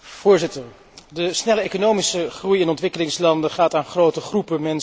De snelle economische groei in ontwikkelingslanden gaat aan grote groepen mensen voorbij.